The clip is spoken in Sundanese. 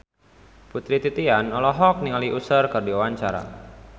Putri Titian olohok ningali Usher keur diwawancara